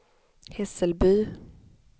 Hässelby